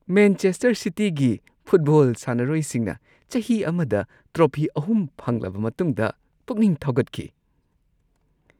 Manchester ꯁꯤꯇꯤꯒꯤ football ꯁꯥꯟꯅꯔꯣꯏꯁꯤꯡꯅ ꯆꯍꯤ ꯑꯃꯗ ꯇ꯭ꯔꯣꯐꯤ ꯳ ꯐꯪꯂꯕ ꯃꯇꯨꯡꯗ ꯄꯨꯛꯅꯤꯡ ꯊꯧꯒꯠꯈꯤ ꯫